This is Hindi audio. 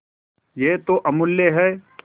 यह तो अमुल्य है